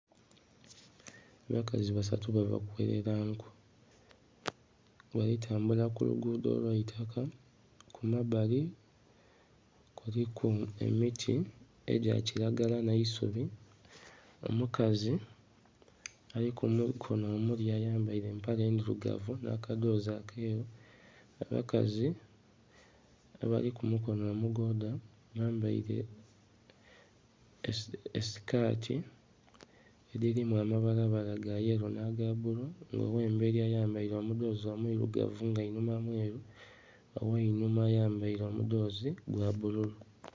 Abakazi basatu bava kugherera nku bali tambula kulugudho olwaitaka kumabbali kuliku emiti egya kiragala nh'eisubi. Omukazi ali kumukono omulya ayambere empale endhilugavu nha kagyozi akeru, abakazi abali kumukono omugodha bambeire esikati edhirimu amabala bala gayello nhaga bbulu nga onho oghemberi ayambere omudhozi omwiirugavu nga inhuma mweru, ogh'einhuma ayambere omudhozi gwa bbululu.